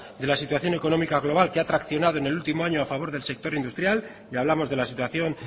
de la situación económica global que ha traccionado en el último año a favor del sector industrial y hablamos de la situación